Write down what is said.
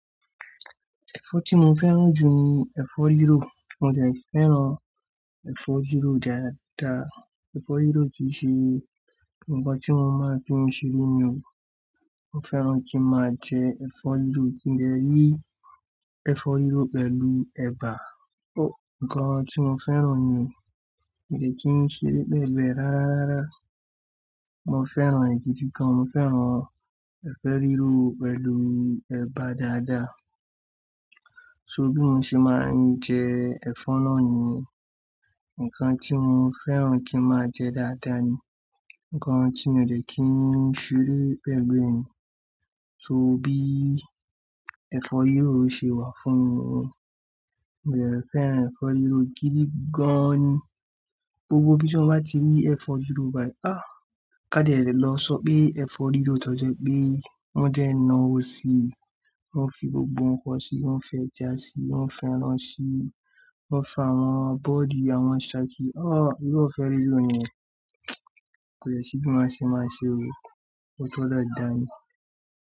Ẹ̀fọ́ tí mo fẹ́ràn jù ni ẹ̀fọ́ rírò. Mo de fẹ́ràn ẹ̀fọ́ rírò dáadáa. Ẹ̀fọ́ rírò kìí ṣe ǹkan tí won máa fi ń ṣeré o. Mo fẹ́ràn kí máa jẹ ẹ̀fọ́ rírò. Kí n dè rí ẹ̀fọ́ rírò pẹ̀lú ẹba, to ǹkan tí mo fẹ́ràn ni. Mi ò kí ń ṣeré pẹ̀lu e ráraárá. Mo fẹ́ràn e gidi gan. Mo fẹ́ràn ẹ̀fo rírò pẹ̀lú ẹba dáadáa. So bí mo ṣe máa ń jẹ ẹ̀fọ́ náà ni ǹkan tí mo fẹ́ràn kí máa jẹ dáadáa ni. Ǹkan tí mi ò lè kí ń ṣeré pelu e ni. So bí ẹ̀fọ́ rírò ṣe wà fún mi mo jẹ̀ fẹ́ràn ẹ̀fọ́ rírò gidi gan ni. Gbogbo bí tí mo bá ti rí ẹ̀fọ́ rírò bàí, ah! Ká lè lọ sọ pé ẹ̀fọ́ rírò tọ́jọ́ pé wọ́n de nawò si, wọ́n fi gbogbo ǹkan si, wọ́n fẹ́ eja si, wọ́n fẹ́ràn si, wọ́n fa àwọn abodi, àwọn saki, ah! Iru efo rírò niyẹn kò lè ṣí bí mo ṣe máa ṣe o. O tó dáadáa ni.